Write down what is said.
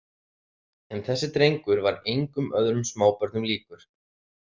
En þessi drengur var engum öðrum smábörnum líkur.